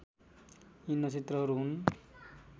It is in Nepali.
यी नक्षत्रहरू हुन्